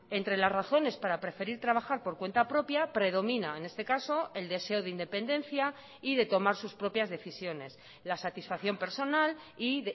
entre las razones para preferir trabajar por cuenta propia predomina en este caso el deseo de independencia y de tomar sus propias decisiones la satisfacción personal y